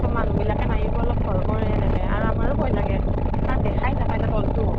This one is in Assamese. তʼ মানুহ বিলাকে মাৰিব অলপ ভয় কৰে এনেকে আৰু আমাৰো ভয় লাগে, কাৰণ দেখাই নাপায় ন তল্তো